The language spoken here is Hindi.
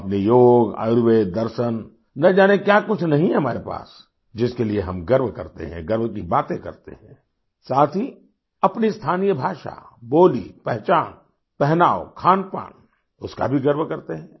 हम अपने योग आयुर्वेद दर्शन न जाने क्या कुछ नहीं है हमारे पास जिसके लिए हम गर्व करते हैं गर्व की बाते करते हैं साथ ही अपनी स्थानीय भाषा बोली पहचान पहनाव खानपान उसका भी गर्व करते हैं